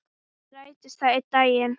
Vonandi rætist það einn daginn.